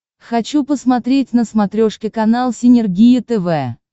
хочу посмотреть на смотрешке канал синергия тв